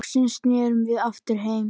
Loksins snerum við aftur heim.